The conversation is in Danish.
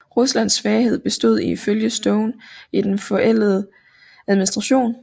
Ruslands svaghed bestod ifølge Stone i den forældede administration